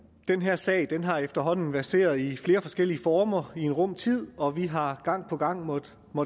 den her sag har efterhånden verseret i flere forskellige former i en rum tid og vi har gang på gang måttet